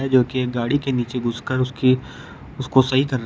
जो की एक गाड़ी के नीचे घुसकर उसकी उसको सही कर रहा--